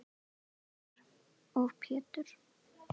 Sævar og Pétur.